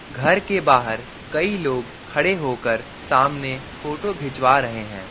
घर के बाहर कई लोग खड़े होकर सामने फोटो खिंचवा रहे हैं।